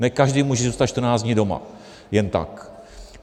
Ne každý může zůstat 14 dní doma, jen tak.